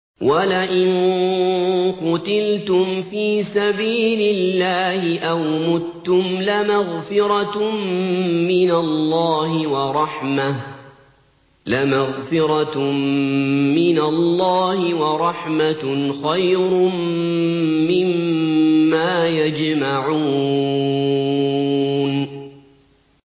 وَلَئِن قُتِلْتُمْ فِي سَبِيلِ اللَّهِ أَوْ مُتُّمْ لَمَغْفِرَةٌ مِّنَ اللَّهِ وَرَحْمَةٌ خَيْرٌ مِّمَّا يَجْمَعُونَ